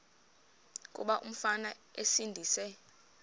kuba umfana esindise